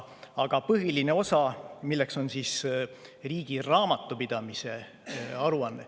Aga põhiline osa on riigi raamatupidamise aruanne.